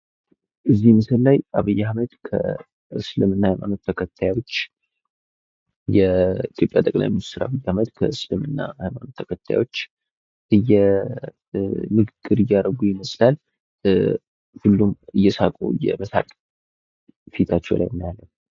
እዚህ ምስል ላይ የኢትዮጲያ ጠቅላይ ሚኒስቴር ዶክተር አብይ አህመድ ከእስልምና እምነት ተከታዮች ንግግር እያረጉ ይመስላል። ሁሉም እየሳቁ የመሳቅ ፊታቸው ላይ እናያለን።